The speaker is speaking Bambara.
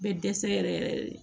Bɛ dɛsɛ yɛrɛ yɛrɛ yɛrɛ de